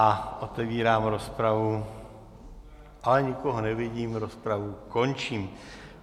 A otevírám rozpravu, ale nikoho nevidím, rozpravu končím.